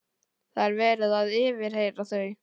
Það er verið að yfirheyra þau.